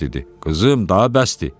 Qızım, daha bəsdir.